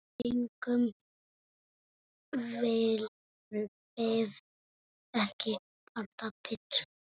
Eigum við ekki panta pitsu?